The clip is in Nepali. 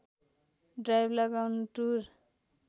ड्राइव लगाउन टुर